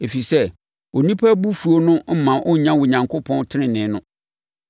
ɛfiri sɛ, onipa abufuo no mma ɔnnya Onyankopɔn tenenee no.